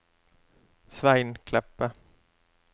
Svein Kleppe